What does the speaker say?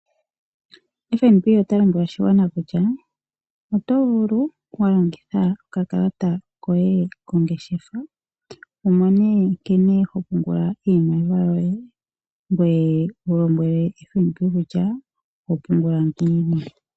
FNB ota lombwele oshigwana kutya oto vulu walongitha oka kalata koye kongeshefa wumone nkene ho pungula iimaliwa yoye ngoye wulombwele FBN kutya oho pungula ngiini.